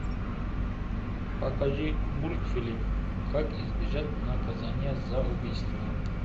покажи мультфильм как избежать наказания за убийство